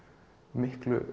miklu